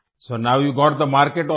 so know you got the market also